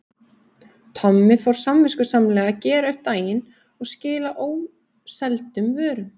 Tommi fór samviskusamlega að gera upp eftir daginn og skila óseldum vörum.